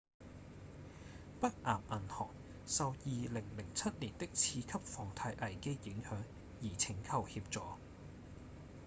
北岩銀行受2007年的次級房貸危機影響而請求協助